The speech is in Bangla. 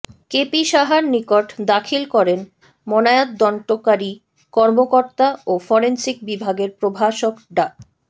কেপি সাহার নিকট দাখিল করেন ময়নাতদন্তকারী কর্মকর্তা ও ফরেনসিক বিভাগের প্রভাষক ডা